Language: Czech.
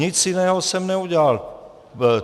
Nic jiného jsem neudělal.